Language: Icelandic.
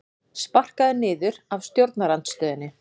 Sparkaður niður af stjórnarandstöðunni